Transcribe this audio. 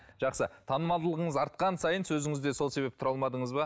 жақсы танымалдығыңыз артқан сайын сөзіңізде сол себепті тұра алмадыңыз ба